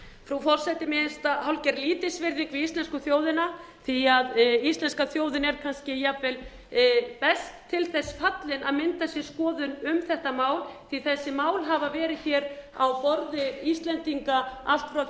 frú forseti mér finnst það hálfgerð lítilsvirðing við íslensku þjóðina því að íslenska þjóðin er kannski jafnvel best til þess fallin að mynda sér skoðun um þetta mál því að þessi mál hafa verið hér á borði íslendinga allt frá